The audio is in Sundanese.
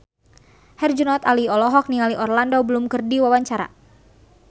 Herjunot Ali olohok ningali Orlando Bloom keur diwawancara